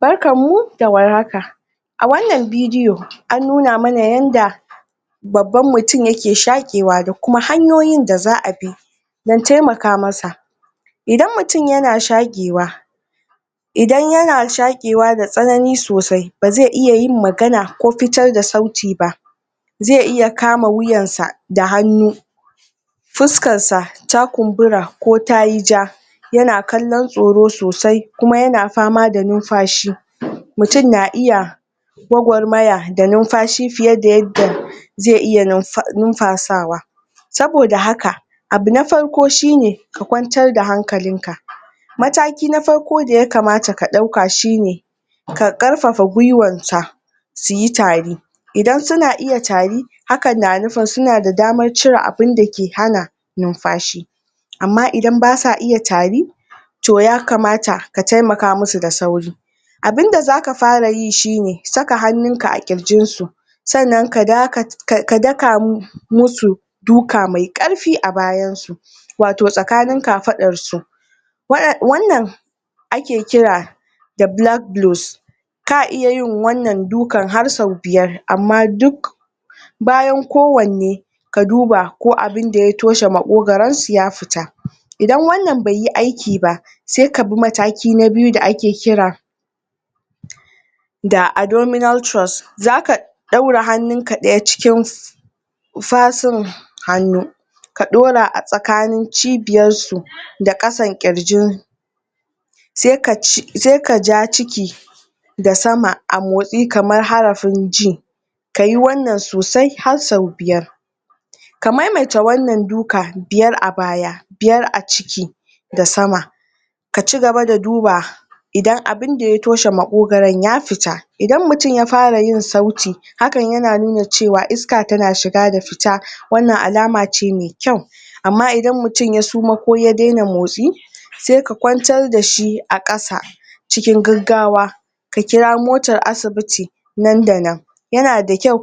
barkan mu da warhaka a wannan bidiyo an nuna mana yadda babban mutum yake shaƙewa da kuma hanyoyin da za'a bi don temaka masa idan mutum yana shaƙewa idan yana shaƙewa da tsanani sosai bazai iya yin magana ko fitar da sauti ba zai iya kama wuyansa da hannu fuskansa ta kumbura ko tari ja yana kallon tsoro sosai kuma yana fama da numfashi mutum na iya gwagwarmaya da numfashi fiye da zai iya numfa sawa saboda haka abu na farko shine ka kwatar da hankalinka mataki na farko da yakama ka dauka shine kaƙarfafa gwuiwarka suyi tari idan suna ita tari hakan na nufin suna da damar cire abun da ke hana numfashi amma idan basu iya tari to yakamata ka temaka musu da sauri abunda zaka fara yi shine saka hannu a ƙirjinsu sannan ka daka ka dakamu musu duka mai ƙarfi a baynasu wato tsakanin kafadarsu wannan ake kira bulak goros ka iya yin wannan dukar har sau biyar amma duk bayan kowanne ka duba ko abun da ya toshe maƙogoron su ya fita idan wannan baiyi aiki ba sai ka bi mataki na biyu da ake kira da adominal tros zaka daura hannunk daya cikin fasin hannu ka daura ajikin jibiyar su da kasan ƙirji sai ka ja ciki da sama a motsi kamar harafin j kayi wannan sosai har sau biyar ka maimaita wannan duka biyar a baya biyar a ciki da sama ka cigaba da duba idan abun da ya toshe maƙogoron ya fita idan mutum yafara yin sauti hakan yana nuna iska yana shiga da fita wannan alama ce maikyau amma idan mutum ya suma ko ya dena motsi sai ka kwantar da shi akasa cikin gaggawa ka kira motar asibiti nan da nan yana da kyau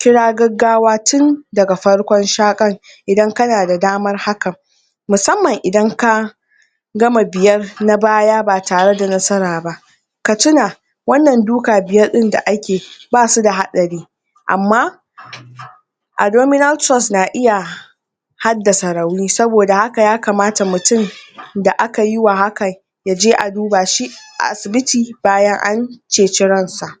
kira gaggawa tun daga farkon shaƙar idan kana da damar hakan musamman idan ka gama biyar na baya ba tare da nasara ba ka tina wannan duka biyar din d akeyi basu da hadari amma admoninal tros na iya haddasa rauni ya kamata mutum da akayi wa hakan ya je a duba shi a asibiti bayan an ceci ransa